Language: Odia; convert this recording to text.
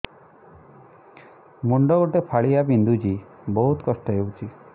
ମୁଣ୍ଡ ଗୋଟେ ଫାଳିଆ ବିନ୍ଧୁଚି ବହୁତ କଷ୍ଟ ହଉଚି